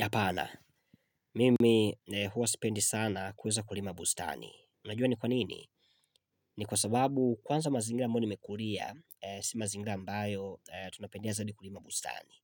Hapana, mimi huwa sipendi sana kuweza kulima bustani. Unajua ni kwa nini? Ni kwa sababu kwanza mazingira ambayo nimekulia, si mazingira ambayo tunapendea zaidi kulima bustani.